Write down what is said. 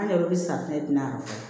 An yɛrɛ bɛ safinɛ dilan